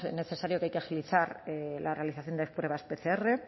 necesario que hay que agilizar la realización de pruebas pcr